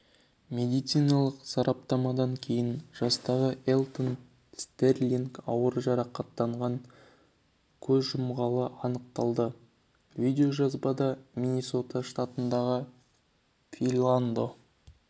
медициналық сараптамадан кейін жастағы элтон стерлинг ауыр жарақаттан көз жұмғаны анықталды видео жазбада миннесота штатындағы филандо